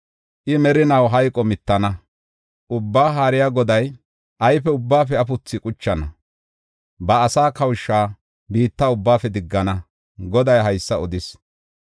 I merinaw hayqo mittana; Ubbaa Haariya Goday ayfe ubbaafe afuthaa quchana; ba asaa kawusha biitta ubbaafe diggana. Goday haysa odis.